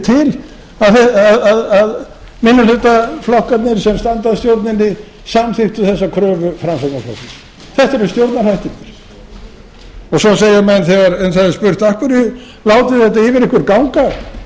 að stjórnin yrði til að minnihlutaflokkarnir sem standa að stjórninni samþykktu þessa kröfu framsóknarflokksins þetta eru stjórnarhættirnir svo segja menn þegar um það er spurt af hverju látið þið þetta yfir ykkur ganga